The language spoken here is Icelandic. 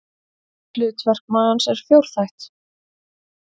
Hlutverk magans er fjórþætt.